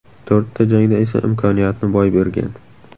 To‘rtta jangda esa imkoniyatni boy bergan.